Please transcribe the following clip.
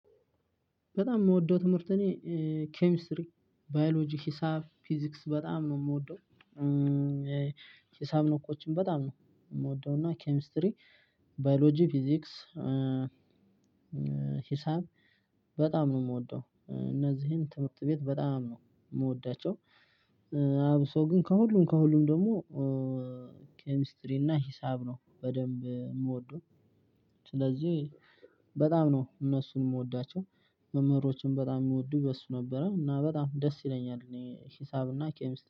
በጣም ምወደው ትምህርት እኔ ኬሚስትሪ ባዮሎጂ ሂሳብ ፊዚክስ በጣም ነው ምወደው። ሂሳብ ነው ነኮችን በጣም ነው ምወደው እና ኬሚስትሪ ባዮሎጂ ፊዚክስ። ሂሳብ በጣም ነው የምወደው እነዚህን ትምህርት ቤት በጣም ነው ምወዳቸው። አብሶ ግን ከሁሉም ከሁሉም ደግሞ ኬሚስትሪ እና ሂሳብ ነው በደንብ ምወደው። ስለዚህ በጣም ነው እነሱን ምወዳቸው። መምህሮችን በጣም ሚወዱእ በሱ ነበረ እና በጣም ደስ ይለኛል። እኔ ሂሳብ እና ኬሚስ